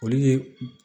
Olu ye